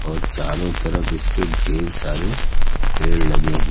और चारों तरफ इसके ढेर सारे पेड़ लगे हैं।